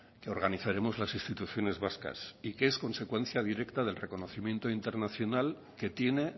que organizaremos las instituciones vascas y que es consecuencia directa del reconocimiento internacional que tiene